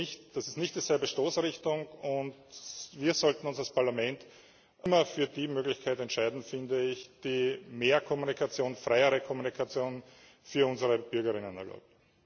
Das ist nicht dieselbe Stoßrichtung, und wir sollten uns als Parlament immer für die Möglichkeit entscheiden, finde ich, die mehr Kommunikation, freiere Kommunikation für unsere BürgerInnen erlaubt.